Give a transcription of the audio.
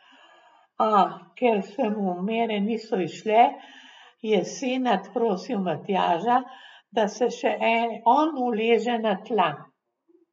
A, ker se mu mere niso izšle, je Senad prosil Matjaža, da se še on uleže na tla.